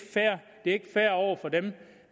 fair over for dem